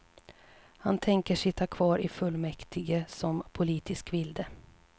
Han tänker sitta kvar i fullmäktige som politisk vilde.